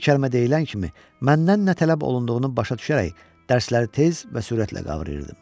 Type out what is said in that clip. Bir kəlmə deyilən kimi, məndən nə tələb olunduğunu başa düşərək dərsləri tez və sürətlə qavrayırdım.